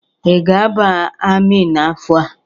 Ị ga-aba amị n'afọ a?